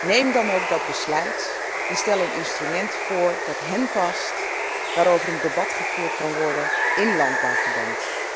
Neem dan ook dat besluit en kom met een instrument dat hén past, waarover een debat gevoerd kan worden in landbouwverband.